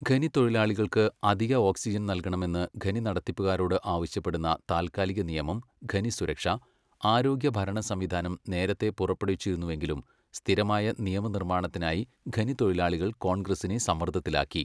ഖനിത്തൊഴിലാളികൾക്ക് അധിക ഓക്സിജൻ നൽകണമെന്ന് ഖനി നടത്തിപ്പുകാരോട് ആവശ്യപ്പെടുന്ന താൽക്കാലിക നിയമം ഖനി സുരക്ഷാ, ആരോഗ്യ ഭരണസംവിധാനം നേരത്തെ പുറപ്പെടുവിച്ചിരുന്നുവെങ്കിലും സ്ഥിരമായ നിയമനിർമ്മാണത്തിനായി ഖനിത്തൊഴിലാളികൾ കോൺഗ്രസ്സിനെ സമ്മർദ്ദത്തിലാക്കി.